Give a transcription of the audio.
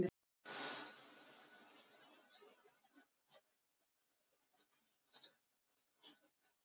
Auðvitað var þetta einna líkast bilun.